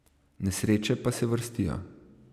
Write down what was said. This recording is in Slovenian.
Nesreče pa se vrstijo.